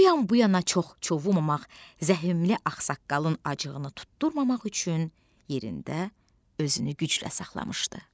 O yan-bu yana çox çovulamamaq, zəhmli axsaqqalın acığını tutdurmamaq üçün yerində özünü güclə saxlamışdı.